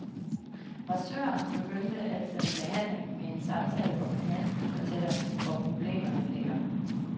Massøren begynder altid en behandling med en samtale, hvor klienten fortæller, hvor problemerne ligger.